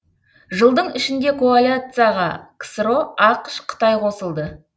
жылдың ішінде коалицияға ксро ақш қытай қосылды